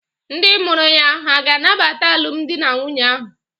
Ndị mụrụ ya hà ga-anabata alụmdi na nwunye ahụ?